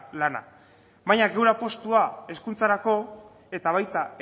lana baina gure apustua hezkuntzarako eta baita